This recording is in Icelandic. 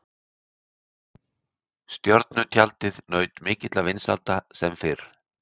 Stjörnutjaldið naut mikilla vinsælda sem fyrr.